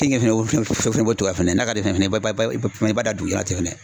Keninge fɛnɛ fɛnɛ bɔ cogoya a fɛnɛ na, n'a ka di ye fɛnɛ i b'a b'a da dugu la tɛ fɛnɛ